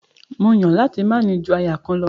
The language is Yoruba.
Mó Yàn láti máa ní ju aya kan lọ.